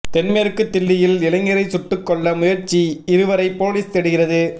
தென் மேற்கு தில்லியில் இளைஞரை சுட்டுக் கொல்ல முயற்சிஇருவரை போலீஸ் தேடுகிறது